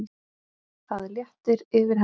Það léttir yfir henni.